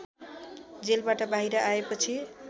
जेलबाट बाहिर आएपछि